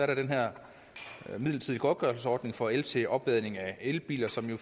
der den her midlertidige godtgørelsesordning for el til opladning af elbiler som jo